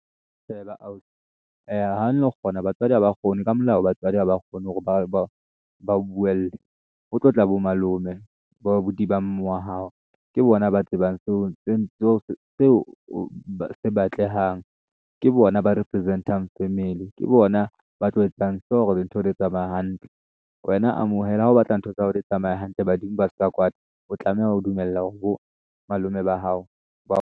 Sheba ausi ha no kgona batswadi ha ba kgone ka molao batswadi ha ba kgone hore ba o buelle ho tlo tla bo malome bo abuti ba mme wa hao. Ke bona ba tsebang seo se batlehang ke bona ba represent-ang family ke bona ba tlo etsang hore dintho di tsamaya hantle. Wena amohela ha o batla ntho tsa hao di tsamaya hantle badimo ba ska kwata o tlameha ho dumella hore bo malome ba hao ba .